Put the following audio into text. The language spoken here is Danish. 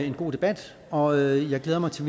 en god debat og jeg glæder mig til